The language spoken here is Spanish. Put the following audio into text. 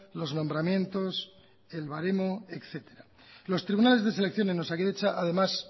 los nombramientos el baremo etcétera los tribunales de selección en osakidetza además